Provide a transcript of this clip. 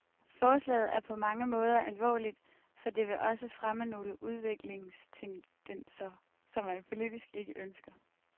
Forslaget er på mange måder alvorligt, for det vil også fremme nogle udviklingstendenser, som man politisk ikke ønsker.